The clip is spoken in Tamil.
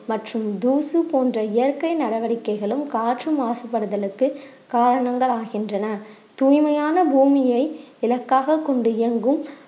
மற்றும் தூசு போன்ற இயற்கை நடவடிக்கைகளும் காற்று மாசுபடுதலுக்கு காரணங்கள் ஆகின்றன தூய்மையான பூமியை இலக்காகக் கொண்டு இயங்கும்